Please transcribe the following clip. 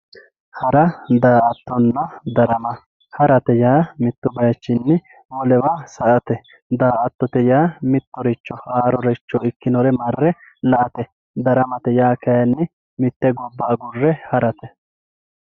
Hara, daa"attonna darama, harate yaa mitu bayichinni wolewa sa"ate, daa"attote yaa mittoricho haaroricho ikkonore marre la"ate ,daramate yaa kayinni mite gobba agurre harate.